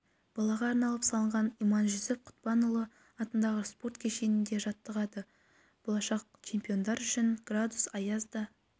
балаға арналып салынған иманжүсіп құтпанұлы атындағы спорт кешенінде жаттығады болашақ чемпиондар үшін градус аяз да